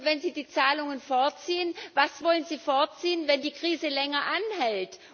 Und wenn Sie die Zahlungen vorziehen, was wollen Sie vorziehen, wenn die Krise länger anhält?